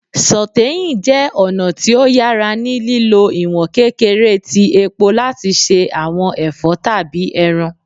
Sauteing jẹ ọna ti o yara ni lilo iwọn kekere ti epo lati ṣe awọn ẹfọ tabi ẹran